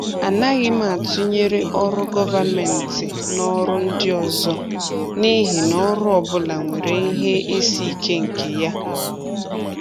A naghị m atụnyere ọrụ gọvanmentị na ọrụ ndị ọzọ n’ihi na ọrụ ọ bụla nwere ihe isi ike nke ya.